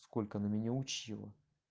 сколько она меня учила